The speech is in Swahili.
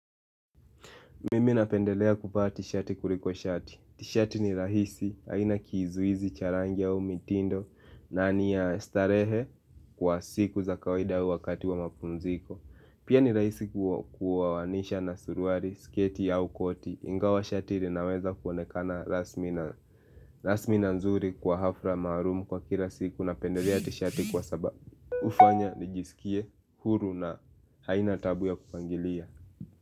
Mimi napendelea kuvaa t-shirt kuliko shati. T-shirt ni rahisi haina kizuizi cha rangi au mitindo na ni ya starehe kwa siku za kawaida au wakati wa mapumziko. Pia ni rahisi kuoanisha na suruali, sketi au koti. Ingawa shati linaweza kuonekana rasmi na rasmi na nzuri kwa hafla maarum kwa kila siku napendelea t-shirt kwa sababu. Hufanya nijisikie huru na haina taabu ya kupangilia.